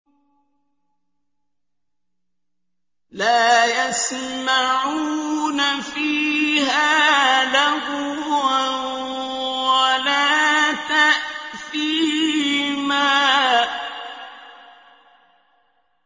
لَا يَسْمَعُونَ فِيهَا لَغْوًا وَلَا تَأْثِيمًا